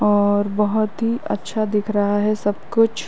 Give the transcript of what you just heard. और बोहोत ही अच्छा दिख रहा है सब कुछ।